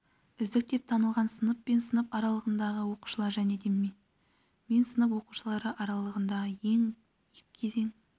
үздік деп танылған сынып пен сынып аралығындағы оқушылар және де мен сынып оқушылары арасындағы екі кезең